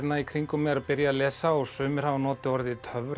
í kringum mig er að byrja að lesa og sumir hafa notað orðið